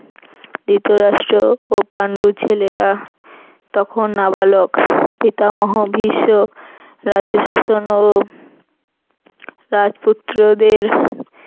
ধৃতরাষ্ট্র ও পান্ডুর ছেলেরা তখন নাবালক পিতামহ ভীষ্ম রাজ্যশাসন ও রাজপুত্র দের